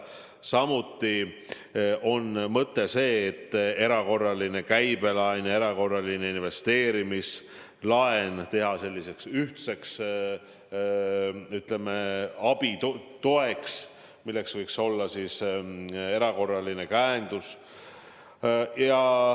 Samuti on mõte, et erakorraline käibelaen ja erakorraline investeerimislaen teha selliseks ühtseks, ütleme, abitoeks, milleks võiks olla erakorraline käendus.